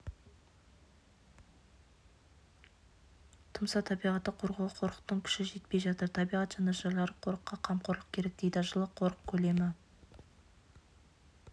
тұмса табиғатты қорғауға қорықтың күші жетпей жатыр табиғат жанашырлары қорыққа қамқорлық керек дейді жылы қорық көлемі